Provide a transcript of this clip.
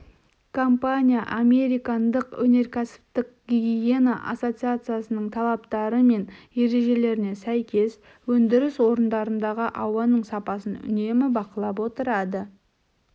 компания американдық өнеркәсіптік гигиена ассоциациясының талаптары мен ережелеріне сай өндіріс орындарындағы ауаның сапасын үнемі бақылап отырады